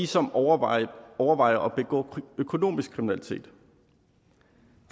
som overvejer overvejer at begå økonomisk kriminalitet